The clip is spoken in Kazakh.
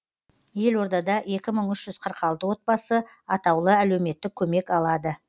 елордада екі мың үш жүз қырық алты отбасы атаулы әлеуметтік көмек алады